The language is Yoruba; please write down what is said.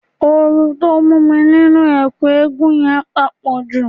Ooru tó mú mi nínú ẹ̀kú eégún yẹn pàpọ̀jù